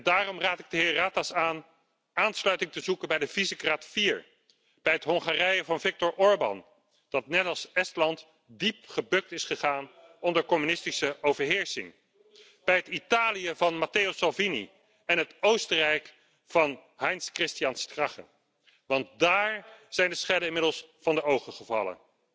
Daarom raad ik de heer Ratas aan aansluiting te zoeken bij de Visegrád 4, bij het Hongarije van Viktor Orbán, dat net als Estland diep gebukt is gegaan onder communistische overheersing, bij het Italië van Matteo Salvini en het Oostenrijk van Heinz Christian Strache, want daar zijn de schellen inmiddels van de ogen gevallen.